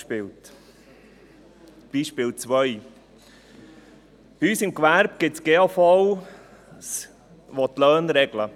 Zweites Beispiel: In unserem Gewerbe gibt es GAVs, die die Löhne regeln.